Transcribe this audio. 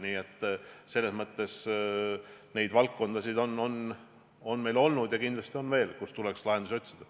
Nii neid valdkondasid on meil olnud ja kindlasti on veel, kus tuleks lahendusi otsida.